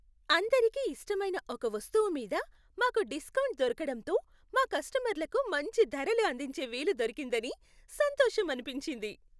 అందరికీ ఇష్టమైన ఒక వస్తువు మీద మాకు డిస్కౌంట్ దొరకడంతో మా కస్టమర్లకు మంచి ధరలు అందించే వీలు దొరికిందని సంతోషమనిపించింది.